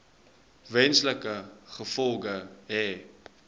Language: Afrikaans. wesenlike gevolge hê